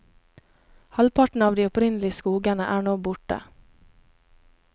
Halvparten av de opprinnelige skogene er nå borte.